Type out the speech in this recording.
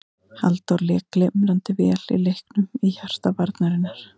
Halldór lék glimrandi vel í leiknum í hjarta varnarinnar.